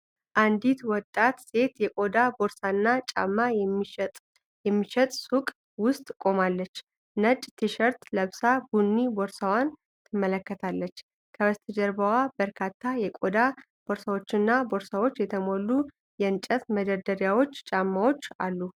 አንዲት ወጣት ሴት የቆዳ ቦርሳና ጫማ የሚሸጥ ሱቅ ውስጥ ቆማለች። ነጭ ቲሸርት ለብሳ ቡኒ ቦርሳዋን ትመለከታለች። ከበስተጀርባዋ በበርካታ የቆዳ ቦርሳዎችና ቦርሳዎች የተሞሉ የእንጨት መደርደሪያዎችና ጫማዎች አሉ።